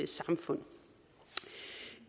samfund